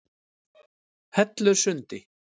Hellusundi